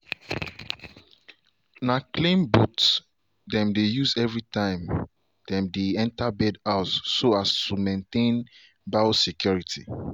na clean booth them dey use every time dem dey enter bird house so as to maintain biosecurity.